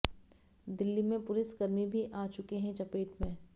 दिल्ली में पुलिसकर्मी भी आ चुके हैं चपेट में